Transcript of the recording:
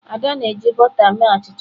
Ada na-eji bọta mee achicha.